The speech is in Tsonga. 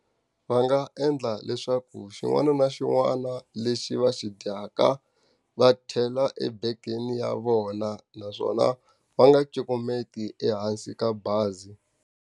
Va nga endla leswaku xin'wana na xin'wana lexi va xi dyaka, va chela ebegeni ya vona naswona va nga cukumeti ehansi ka bazi.